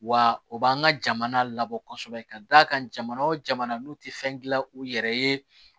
Wa o b'an ka jamana labɔ kosɛbɛ ka d'a kan jamana o jamana n'u tɛ fɛn gila u yɛrɛ ye